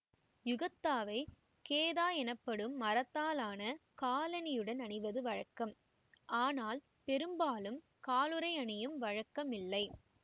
யுகத்தாவைக் கேதா எனப்படும் மரத்தாலான காலணியுடன் அணிவது வழக்கம் ஆனால் பெரும்பாலும் காலுறை அணியும் வழக்கம் இல்லை